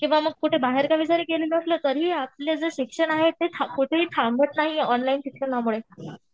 किंवा मग कुठे बाहेरगावी गेलेलो असलो तरीही आपलं जे शिक्षण आहे ते कुठेही थांबत नाही ऑनलाईन शिक्षणामुळे.